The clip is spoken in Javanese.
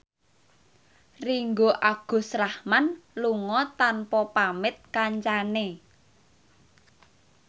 Ringgo Agus Rahman lunga tanpa pamit kancane